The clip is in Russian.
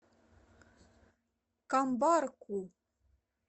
камбарку